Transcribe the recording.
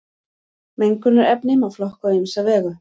Mengunarefni má flokka á ýmsa vegu.